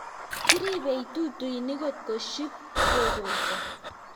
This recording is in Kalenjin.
kiribei tutuinik kotko ship kekolso